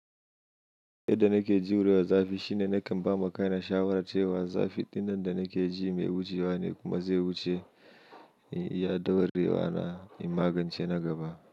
Yadda nake jurewa zafi shine nakan bama kaina shawara cewa zafi dinnan da nake ji mai wucewa ne kuma zai wuce, ya daurewa na in magance na gaba.